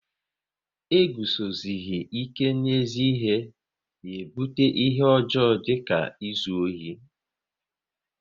E guzosihi ike n'ezi ihe na ebute ihe ọjọọ dịka izu ohi